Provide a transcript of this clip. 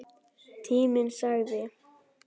Tíminn sagði: